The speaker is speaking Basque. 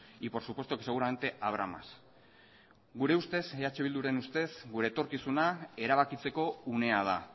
y por supuesto que seguramente habrá más gure ustez eh bilduren ustez gure etorkizuna erabakitzeko unea da